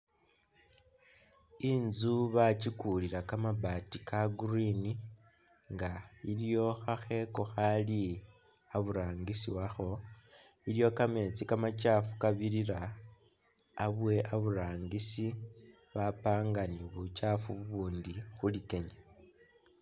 Inzu bakikulila kamabaati ka green nga iliyo khakheeko khakhaali iburangisi wakho, iliwo kameetsi kamachaafu kabirira abwe aburangisi bapanga ne buchaafu bubundi khu likenya..